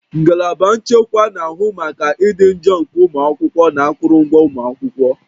Ngalaba nchekwa na-ahụ maka ịdị njọ nke ụmụ akwụkwọ na akụrụngwa ụlọ akwụkwọ